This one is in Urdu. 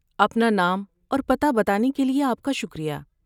اپنا نام اور پتہ بتانے کے لیے آپ کا شکریہ۔